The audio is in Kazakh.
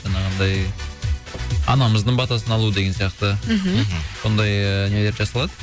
жаңағындай анамыздың батасын алу деген сияқты мхм сондай ііі нелер жасалады